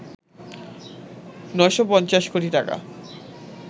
৯৫০ কোটি টাকা